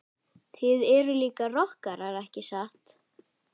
Þið eruð líka rokkarar ekki satt?